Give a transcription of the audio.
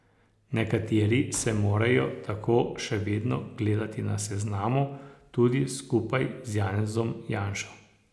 Nekateri se morajo tako še vedno gledati na seznamu, tudi skupaj z Janezom Janšo.